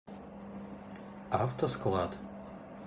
автосклад